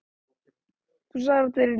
Rokið hjálpar.